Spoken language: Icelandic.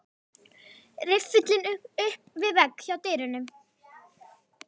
Riffillinn upp við vegg hjá dyrunum.